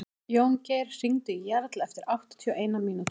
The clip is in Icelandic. Jóngeir, hringdu í Jarl eftir áttatíu og eina mínútur.